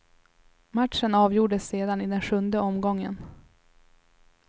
Matchen avgjordes sedan i den sjunde omgången.